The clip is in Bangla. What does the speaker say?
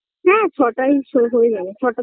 হ্যাঁ ছটায় সব হয়ে যাবে ছটা